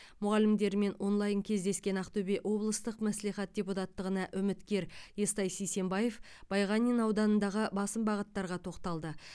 мұғалімдермен онлайн кездескен ақтөбе облыстық мәслихат депутаттығына үміткер естай сисенбаев байғанин ауданындағы басым бағыттарға тоқталды